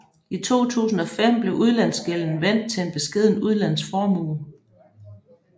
I 2005 blev udlandsgælden vendt til en beskeden udlandsformue